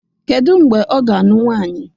Kedu mgbe ọ ga-anụ nwaanyi?